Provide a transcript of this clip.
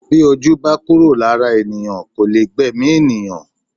Bí ojú bá kúrò lára ènìyàn kò lè gbẹ̀mí ènìyàn